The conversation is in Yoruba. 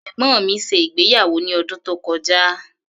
Ẹ̀gbọ́n mi ṣe ìgbéyàwó ní ọdún tó kọjá.